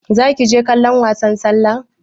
Zaki je kallon wasan sallah?